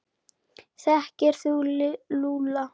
Þekkir þú Lúlla?